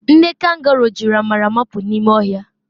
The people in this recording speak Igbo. Nne kangoro jiri amara mapụ n'ime ọhịa